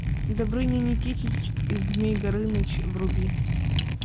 добрыня никитич и змей горыныч вруби